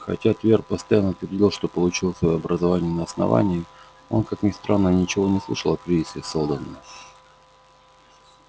хотя твер постоянно твердил что получил своё образование на основании он как ни странно ничего не слышал о кризисе сэлдона